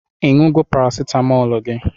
I ṅụgo parasitamolu gi?